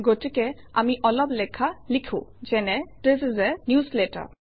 গতিকে আমি অলপ লেখা লিখোঁ যেনে - থিচ ইচ a newsletter